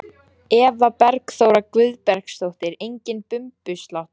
Eva Bergþóra Guðbergsdóttir: Enginn bumbusláttur?